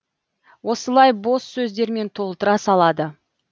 осылай бос сөздермен толтыра салады